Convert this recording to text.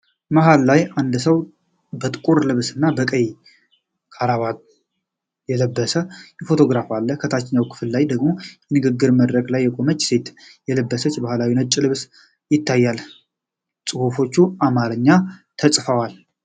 መሃል ላይ አንድ ሰው በጥቁር ልብስ እና በቀይ ክራባት የለበሰበት ፎቶግራፍ አለ። ታችኛው ክፍል ላይ ደግሞ የንግግር መድረክ ላይ የቆመች ሴት የለበሰችው ባህላዊ ነጭ ልብስ ይታያል፤ ጽሑፎቹ በአማርኛ ተጽፈዋል።